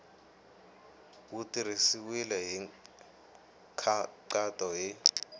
wu tirhisiwile hi nkhaqato hi